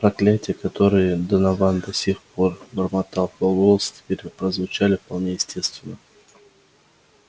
проклятия которые донован до сих пор бормотал в пол голоса теперь прозвучали вполне явственно